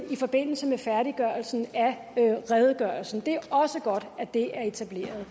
i forbindelse med færdiggørelsen af redegørelsen det er også godt at det er etableret